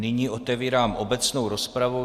Nyní otevírám obecnou rozpravu.